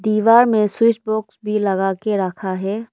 दीवार में स्विचबॉक्स भी लगा के रखा है।